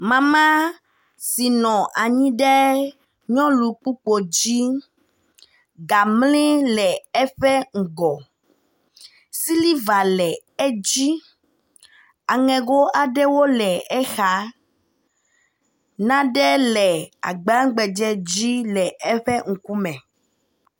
Mama si nɔ anyi ɖe nyɔlukpokpo dzi ga mli le eƒe ŋgɔ. Siliva le edzi, aŋego aɖewo le exa, naɖe le agba gbadze dzi le eƒe ŋkume.